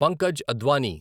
Pankaj Advani